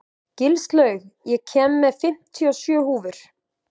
Gilslaug, ég kom með fimmtíu og sjö húfur!